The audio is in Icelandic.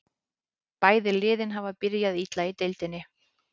Bæði liðin hafa byrjað illa í deildinni.